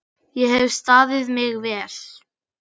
Ég hef staðið mig vel.